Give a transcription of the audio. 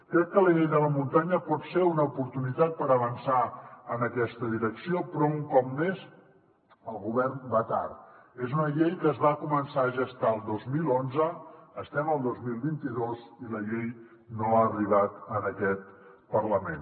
crec que la llei de la muntanya pot ser una oportunitat per avançar en aquesta direcció però un cop més el govern va tard és una llei que es va començar a gestar el dos mil onze i estem al dos mil vint dos i la llei no ha arribat a aquest parlament